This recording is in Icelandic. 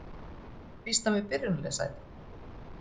Býst hann við byrjunarliðssæti?